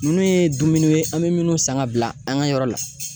Ninnu ye dumuniw ye an be minnu san ka bila an ka yɔrɔ la